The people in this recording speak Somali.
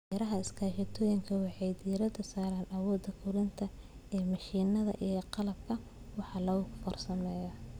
Beeraha iskaashatooyinka waxay ku tiirsan yihiin awooda korantada ee mishiinada iyo qalabka wax lagu farsameeyo.